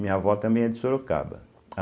Minha vó também é de Sorocaba.